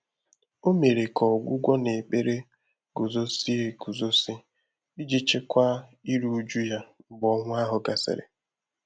Ọ́ mèrè kà ọ́gwụ́gwọ́ nà ékpèré gùzózìé égùzózí ìjí chị́kwáá írú újú yá mgbè ọ́nwụ́ áhụ́ gàsị́rị̀.